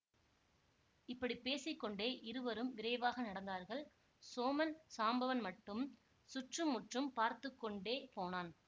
இப்படி பேசி கொண்டே இருவரும் விரைவாக நடந்தார்கள் சோமன் சாம்பவன் மட்டும் சுற்று முற்றும் பார்த்து கொண்டே போனான்